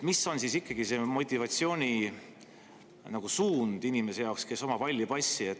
Mis on siis ikkagi see motivatsioon inimese jaoks, kes omab halli passi?